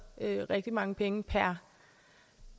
rigtig mange penge per